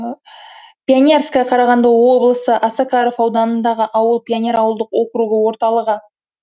пионерское қарағанды облысы осакаров ауданындағы ауыл пионер ауылдық округі орталығы